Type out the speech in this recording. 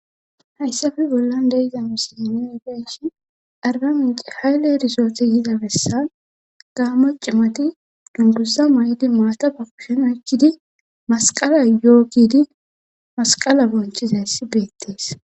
hayssafe bollan deiza misiline i geshi arba minci haylle erisooti yiza bessan gaamo cimati dungussa maydi maata papushen akkidi masqala yo7o gidi masqala bonchizayssi beettees